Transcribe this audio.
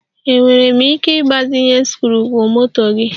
Enwere m ike ịgbazinye sikruokwomoto gị?